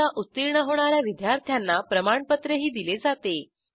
परीक्षा उत्तीर्ण होणा या विद्यार्थ्यांना प्रमाणपत्रही दिले जाते